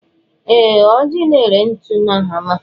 Ee, Ọji na-ere ntu na hama.